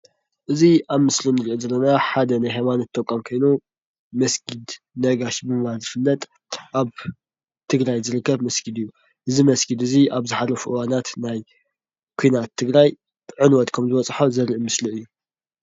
እዚ ኣብ ምስሊ ንርኦ ዘለና ሓደ ናይ ሃይማኖት ተቋም ኮይኑ መስጊድ ነጋሽ ብምባል ዝፍለጥ፣ ኣብ ትግራይ ዝርከብ መስጊድ እዩ። እዚ መስጊድ እዚ ኣብ ዝሓለፉ እዋናት ናይ ኩናት ትግራይ ዕንወት ከምዝበፆሖ ዘርኢ ምስሊ እዩ።